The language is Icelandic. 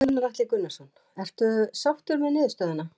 Gunnar Atli Gunnarsson: Ertu sáttur með niðurstöðuna?